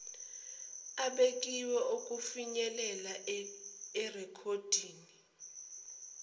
abekiwe okufinyelela erekhoddini